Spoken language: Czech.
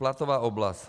Platová oblast.